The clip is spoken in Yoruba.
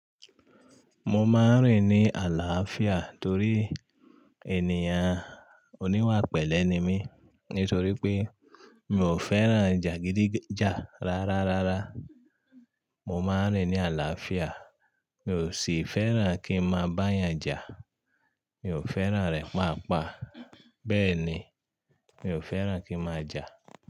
Mo máa ń rìn ní àlàáfíà torí ènìyàn oníwàpẹ̀lẹ́ ni mí. Nítorí pé mi ò fẹ́ràn jà gidíjà rá rárá. Mo máa ń rìn ní àlàáfíà, mi ò sì fẹ́ràn kí n mo máa bá ènìyàn jà. Mi ò fẹ́ràn rẹ̀ paapaa. Bẹ́ẹ̀ ni, mi ò fẹ́ràn kí n màá jà.